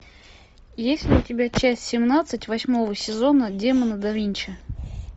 есть ли у тебя часть семнадцать восьмого сезона демоны да винчи